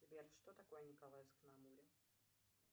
сбер что такое николаевск на амуре